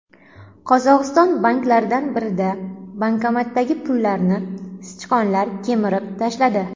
Qozog‘iston banklaridan birida bankomatdagi pullarni sichqonlar kemirib tashladi.